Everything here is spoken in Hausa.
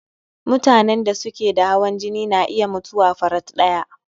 Mutanen da suke da hawan jini na iya mutuwa farat ɗaya